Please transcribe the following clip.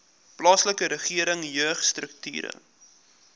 plaaslike regering jeugstrukture